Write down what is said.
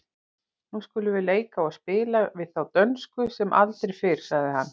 Nú skulum við leika og spila við þá dönsku sem aldrei fyrr, sagði hann.